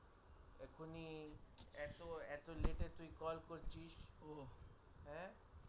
এখনি এত এত late পর তুই কল করছিস